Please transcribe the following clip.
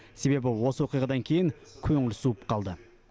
себебі осы оқиғадан кейін көңіл суып қалды